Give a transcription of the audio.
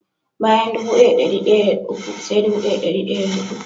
Bayan dubu daya da dari daya da uku sai dubu daya da dari daya da hudu.